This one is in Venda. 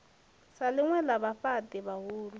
sa ḽinwe ḽa vhafhaṱi vhahulu